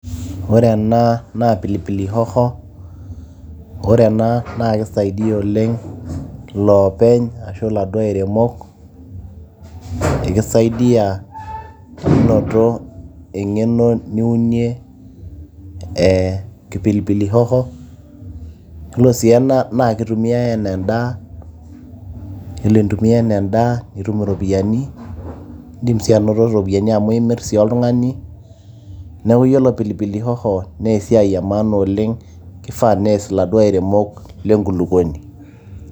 ore ena naa pilipili hoho ore ena naa kisaidia oleng iloopeny ashu iladuo airemok ekisaidiyia menoto eng'eno niunie ee pilipili hoho yiolo sii ena naa kitumiay enaa endaa yiolo intumia enaa endaa nitum iropiyiani indim sii anoto iropiyiani amu imirr sii oltung'ani neeku yiolo pilipili hoho nee esiai e maana oleng kifaa nees iladuo airemok lenkulukuoni.